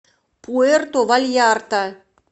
пуэрто вальярта